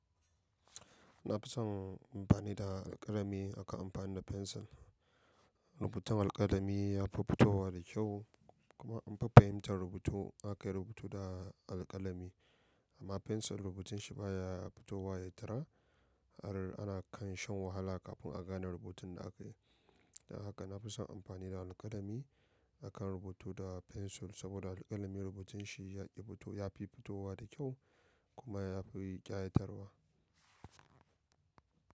Na fi son amfani da alkalami akan amfani da fensir. Rubutun alkalami ya fi fitowa da kyau kuma an fi fahimtan rubutu in akayi rubutu da alkalami. Amma fensir rubutun shi baya fitowa ya tara har ana kan shan wahala kafin a gane rubutun da akayi. Don haka na fi son amfani da alkalami akan rubutu da fensir saboda alkalami rubutun shi ya fi fito, ya fi fitowa da kyau kuma ya fi ƙayatarwa.